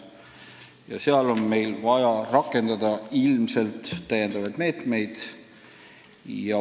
Nii et sel puhul on vaja rakendada täiendavaid meetmeid.